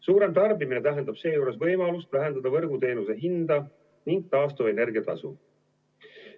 Suurem tarbimine tähendab siinjuures võimalust vähendada võrguteenuse hinda ning taastuvenergia tasu.